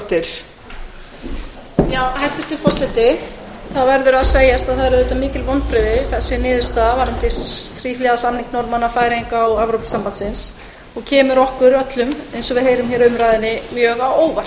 hæstvirtur forseti það verður að segjast eins og er að þessi niðurstaða varðandi þríhliða samning norðmanna færeyinga og evrópusambandsins eru mikil vonbrigði og kemur okkur öllum eins og við heyrum hér á umræðunni mjög á óvart